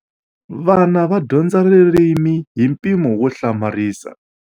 Vana va dyondza ririmi hi mpimo wo hlamarisa.